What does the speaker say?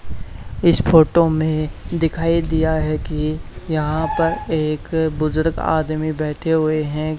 इस फोटो में दिखाई दिया है कि यहां पर एक बुजुर्ग आदमी बैठे हुए हैं।